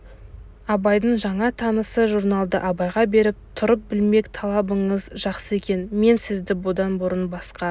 абайдың жаңа танысы журналды абайға беріп тұрып білмек талабыңыз жақсы екен мен сізді бұдан бұрын басқа